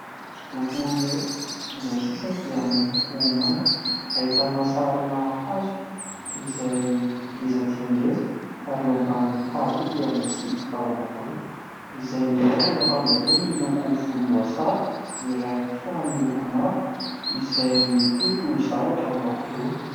Hosodoko iray izay ny sisiny dia miloko manga, ahitana sarina hazo izay ngeza dia ngeza ary eo ambanin'io hazo dia misy vehivavy anankiroa. Izay ny iray manao akanjo ambony miloko volomboasary, ny iray kosa miloko mavo izay mitoto zavatra ao anaty laona.